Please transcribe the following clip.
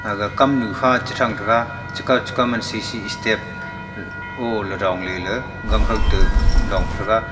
aga kam nu kha chi thang taga chikau chikau man sisi step ei oo ley dongley la gangkhau to dong pa thaga.